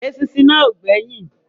Eṣinṣin náà ò gbẹ́yìn